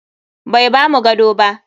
Bai bamu gado ba.